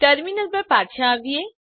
terminal પર પાછા આવીએ